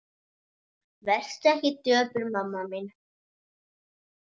Vertu ekki döpur mamma mín.